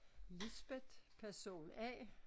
Lisbeth person A